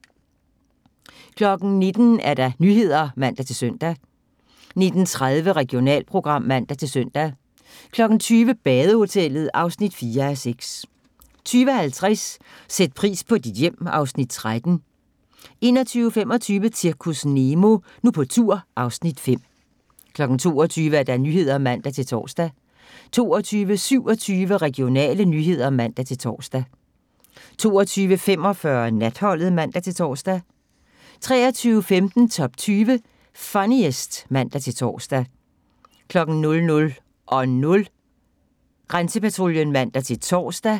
19:00: Nyhederne (man-søn) 19:30: Regionalprogram (man-søn) 20:00: Badehotellet (4:6) 20:50: Sæt pris på dit hjem (Afs. 13) 21:25: Zirkus Nemo – Nu på tur (Afs. 5) 22:00: Nyhederne (man-tor) 22:27: Regionale nyheder (man-tor) 22:45: Natholdet (man-tor) 23:15: Top 20 Funniest (man-tor) 00:00: Grænsepatruljen (man-tor)